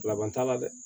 Laban t'a la dɛ